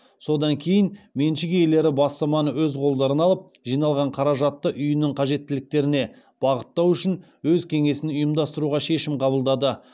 содан кейін меншік иелері бастаманы өз қолдарына алып жиналған қаражатты үйінің қажеттіліктеріне бағыттау үшін өз кеңесін ұйымдастыруға шешім қабылдады